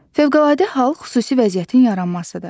Fövqəladə hal xüsusi vəziyyətin yaranmasıdır.